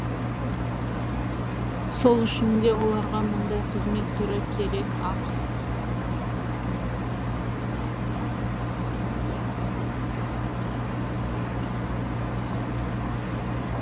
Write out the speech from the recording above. сол үшін де оларға мұндай қызмет түрі керек ақ